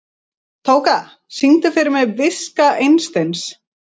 Tóka, syngdu fyrir mig „Viska Einsteins“.